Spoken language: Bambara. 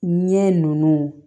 Ɲɛ nunnu